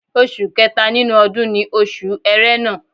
Oṣù kẹta nínú ọdún ni Oṣù Ẹrẹ́nà